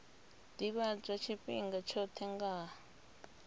ḓivhadzwa tshifhinga tshoṱhe nga ha